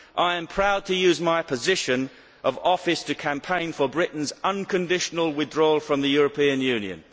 I am proud to use my position of office to campaign for Britain's unconditional withdrawal from the European Union.